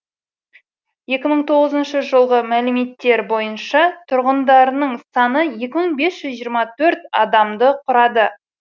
екі мың тоғызыншы жылғы мәліметтер бойынша тұрғындарының саны екі мың бес жүз жиырма төрт адамды құрады